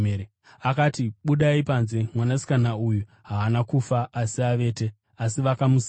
akati, “Budai panze. Mwanasikana uyu haana kufa asi avete.” Asi vakamuseka.